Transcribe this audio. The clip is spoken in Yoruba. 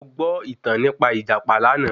Mo gbọ́ ìtàn nípa Ìjàpá lánàá